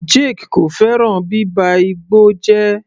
Jake kò fẹ́ràn bíba igbó jẹ́.